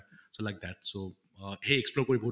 so like that so সেই explore কৰি বহুত